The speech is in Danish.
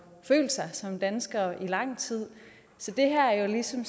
følt sig som danskere i lang tid så det her er jo ligesom